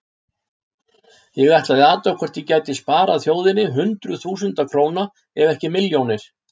Ég ætlaði að athuga hvort ég gæti sparað þjóðinni hundruð þúsunda króna ef ekki milljónir.